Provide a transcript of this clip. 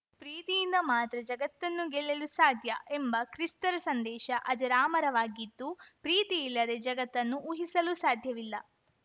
ಪ್ರೀತಿಯಿಂದ ಮಾತ್ರ ಜಗತ್ತನ್ನು ಗೆಲ್ಲಲು ಸಾಧ್ಯ ಎಂಬ ಕ್ರಿಸ್ತರ ಸಂದೇಶ ಅಜರಾಮರವಾಗಿದ್ದು ಪ್ರೀತಿಯಿಲ್ಲದೆ ಜಗತ್ತನ್ನು ಊಹಿಸಲು ಸಾಧ್ಯವಿಲ್ಲ